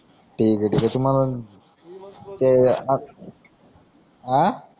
ठिके ठिके ती म्हणणं अं